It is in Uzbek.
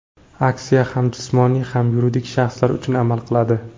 Aksiya ham jismoniy, ham yuridik shaxslar uchun amal qiladi.